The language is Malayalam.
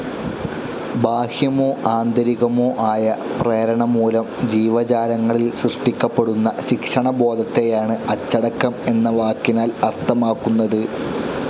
ബാഹ്യമോ ആന്തരികമോ ആയ പ്രേരണമൂലം ജീവജാലങ്ങളിൽ സൃഷ്ടിക്കപ്പെടുന്ന ശിക്ഷണബോധത്തെയാണ് അച്ചടക്കം എന്ന വാക്കിനാൽ അർഥമാക്കുന്നത്.